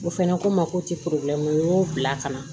O fɛnɛ ko n ma ko n y'o bila ka na